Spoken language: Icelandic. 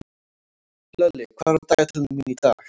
Hlölli, hvað er á dagatalinu mínu í dag?